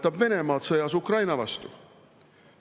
Toetab Venemaad sõjas Ukraina vastu.